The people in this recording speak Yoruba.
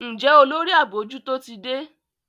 Njé Olórí abojuto tí dé?